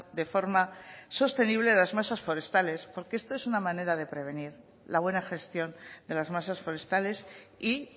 de forma sostenible las masas forestales porque esto es una manera de prevenir la buena gestión de las masas forestales y